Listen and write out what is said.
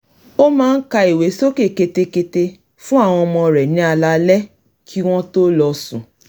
ó máa ń ka ìwé sókè ketekete fún àwọn ọmọ rẹ̀ ní alaalẹ́ kí wọ́n tó lọ sùn